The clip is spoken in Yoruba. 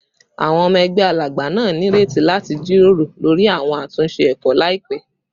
Awọn ọmọ ẹgbẹ Alagba naa nireti lati jiroro lori awọn atunṣe ẹkọ laipẹ